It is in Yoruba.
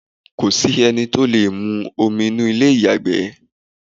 kòsí ẹni tí ó lè mu omi inú ilé ìyàgbẹ́